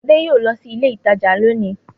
Ade yóò lọ sí ilé-ìtajà lónìí.